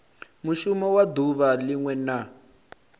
mushumo wa duvha linwe na